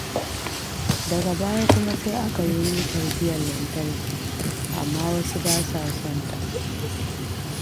Daga baya kuma sai aka yo mitar biyan lantarki. Amma wasu ba sa son ta.